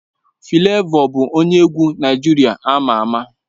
Flavor bụ onye egwu Naịjirịa ama ama